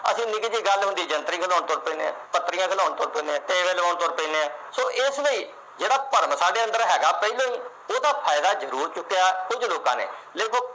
ਅਸੀਂ ਨਿੱਕੀ ਜੀ ਗੱਲ ਹੁੰਦੀ ਆ, ਜੰਤਰੀ ਖੁਲਾਉਣ ਤੁਰ ਪੈਂਦੇ ਆ, ਪੱਤਰੀ ਖੁਲਾਉਣ ਤੁਰ ਪੈਂਦੇ ਆ, ਟੇਵੇ ਲਵਾਉਣ ਤੁਰ ਪੈਂਦੇ ਆ। so ਇਸ ਲਈ ਜਿਹੜਾ ਭਰਮ ਹੈਗਾ, ਸਾਡੇ ਅੰਦਰ ਪਹਿਲੇ ਉਹਦਾ ਫਾਇਦਾ ਜਰੂਰ ਚੁੱਕਿਆ ਕੁਛ ਲੋਕਾਂ ਨੇ। ਦੇਖੋ